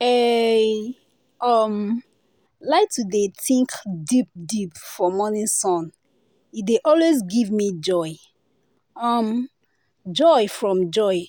eehi um like to dey think deep deep for morning sun e dey always give me um joy from joy